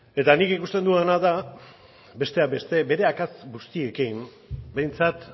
eta nik ikusten dudana da besteak beste bere akats guztiekin behintzat